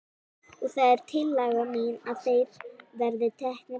Og það er tillaga mín að þeir verði teknir af.